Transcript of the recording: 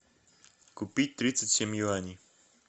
купить тридцать семь юаней